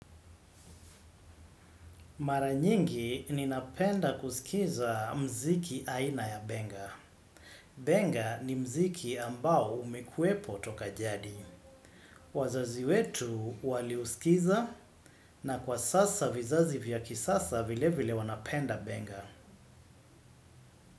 Maranyingi ninapenda kusikiza mziki aina ya benga. Benga ni mziki ambao umekuwepo toka jadi. Wazazi wetu wali usikiza na kwa sasa vizazi vya kisasa vile vile wanapenda benga.